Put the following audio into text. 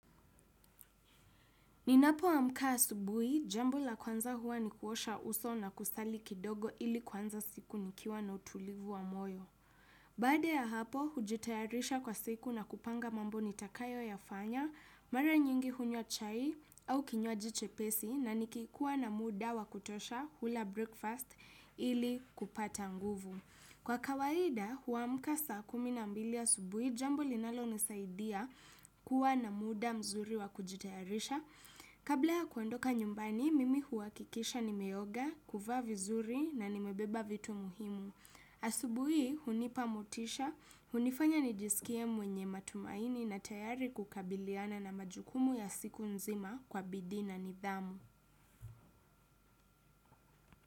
Ninapo amka asubui, jambo la kwanza huwa ni kuosha uso na kusali kidogo ili kuanza siku nikiwa na utulivu wa moyo. Baada ya hapo, hujitayarisha kwa siku na kupanga mambo nitakayo yafanya, mara nyingi hunywa chai au kinywaji chepesi na nikikuwa na muda wa kutosha hula breakfast ili kupata nguvu. Kwa kawaida, huwamka saa kumi na mbili asubui, jambo linalo nisaidia kuwa na muda mzuri wa kujitayarisha. Kabla ya kuandoka nyumbani, mimi huwakikisha nimeoga, kuvaa vizuri na nimebeba vitu muhimu. Asubui, hunipa motisha, hunifanya nijisikie mwenye matumaini na tayari kukabiliana na majukumu ya siku nzima kwa bidii na nidhamu.